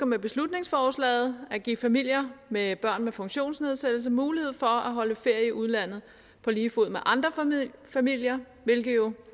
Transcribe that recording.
med beslutningsforslaget at give familier med børn med funktionsnedsættelse mulighed for at holde ferie i udlandet på lige fod med andre familier hvilket jo